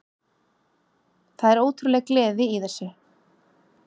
Það er ótrúleg gleði í þessu